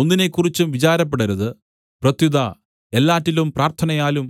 ഒന്നിനേക്കുറിച്ചും വിചാരപ്പെടരുത് പ്രത്യുത എല്ലാറ്റിലും പ്രാർത്ഥനയാലും